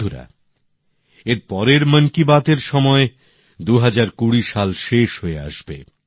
বন্ধুরা এর পরের মন কি বাত এর সময় ২০২০ সাল শেষ হয়ে আসবে